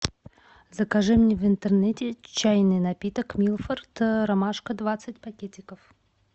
закажи мне в интернете чайный напиток милфорд ромашка двадцать пакетиков